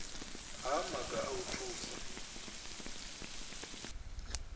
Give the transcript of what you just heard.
ha maga a u thusa